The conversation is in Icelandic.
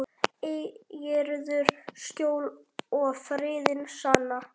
Eigirðu skjól og friðinn sanna.